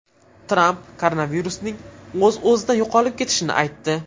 Tramp koronavirusning o‘z-o‘zidan yo‘qolib ketishini aytdi.